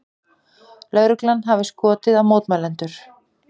Lögreglan hafi skotið á mótmælendur